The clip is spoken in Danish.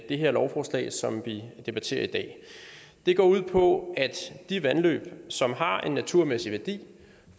det her lovforslag som vi debatterer i dag det går ud på at de vandløb som har en naturmæssig værdi